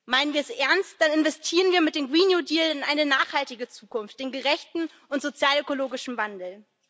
Meinen wir es ernst, dann investieren wir mit dem Grünen Deal in eine nachhaltige Zukunft, in gerechten und sozialökologischen Wandel.